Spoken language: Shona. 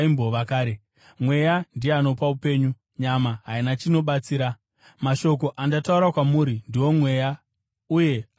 Mweya ndiye anopa upenyu, nyama haina chainobatsira. Mashoko andataura kwamuri ndiwo mweya, uye ane upenyu.